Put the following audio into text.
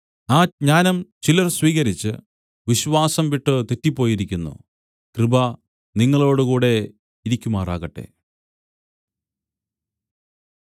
ആ ജ്ഞാനം ചിലർ സ്വീകരിച്ച് വിശ്വാസം വിട്ടു തെറ്റിപ്പോയിരിക്കുന്നു കൃപ നിങ്ങളോടുകൂടെ ഇരിക്കുമാറാകട്ടെ